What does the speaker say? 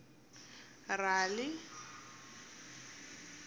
rali